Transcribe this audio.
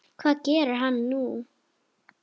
Hvað gerir hann nú?